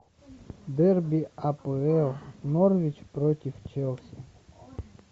дерби апл норвич против челси